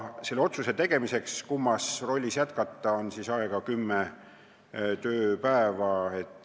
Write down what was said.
Selle otsuse tegemiseks, kummas rollis jätkata, on aega kümme tööpäeva.